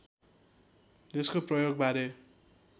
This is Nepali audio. यसको प्रयोगबारे